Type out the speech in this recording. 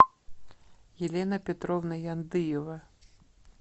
елена петровна яндыева